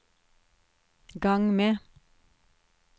gang med